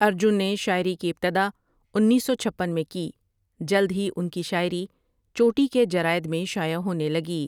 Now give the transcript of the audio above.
ارجن نے شاعری کی ابتدا انیس سو چھپن میں کی جلد ہی ان کی شاعری چوٹی کے جرائد میں شائع ہونے لگی ۔